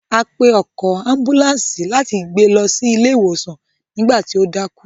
A pe ọkọ̀ ambùlàńsì láti gbé lọ ilé ìwòsàn nígbà tí o dákú.